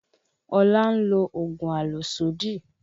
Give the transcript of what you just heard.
Ọlá ń lo oògùn àlòsódì